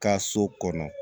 Ka so kɔnɔ